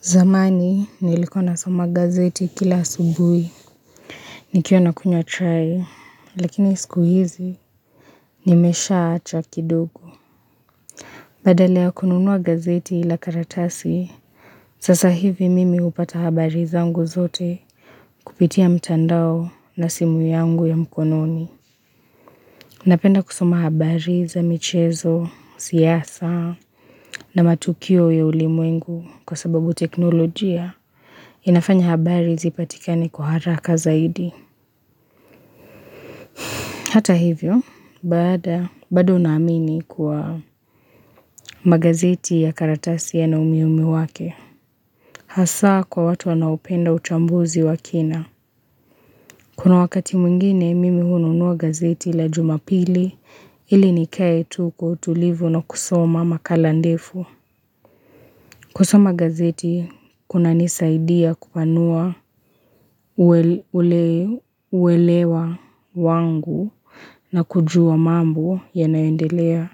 Zamani, nilikuwa nasoma gazeti kila asubui. Nikiwa nakunywa chai, lakini siku hizi, nimeshaacha kidogo. Badala ya kununua gazeti ila karatasi, sasa hivi mimi hupata habari zangu zote kupitia mtandao na simu yangu ya mkononi. Napenda kusoma habari za michezo, siyasa na matukio ya ulimuwengu kwa sababu teknolojia. Inafanya habari zipatikane kwa haraka zaidi. Hata hivyo, bado naamini kuwa magazeti ya karatasi yana umuhimu wake. Hasa kwa watu wanaopenda uchambuzi wa kina. Kuna wakati mwengine mimi hununua gazeti la jumapili ili nikae tu kwa utulivu na kusoma makala ndefu. Kusoma gazeti kunanisaidia kupanua uelewa wangu na kujua mambo yanaendelea